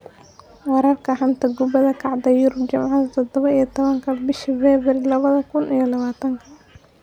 Wararka xanta kubada cagta Yurub Jimce todoba iyo tobanka bisha febraayo labada kuun iyo labatanka: Guardiola, Sterling, Solskjaer, Werner, Magalhaes, Morrison